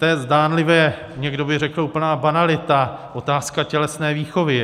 To je zdánlivě, někdo by řekl, úplná banalita, otázka tělesné výchovy.